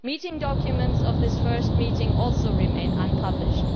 Meeting documents of this first meeting also remain unpublished.